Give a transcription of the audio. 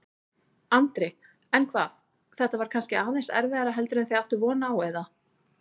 Andri: En hvað, þetta var kannski aðeins erfiðara heldur en þið áttuð von á, eða?